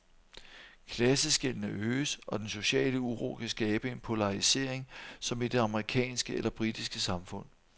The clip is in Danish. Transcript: Klasseskellene øges, og den sociale uro kan skabe en polarisering som i det amerikanske eller britiske samfund.